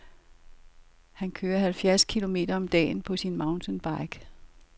Han kører halvfjerds kilometer om dagen på sin mountainbike.